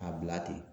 A bila ten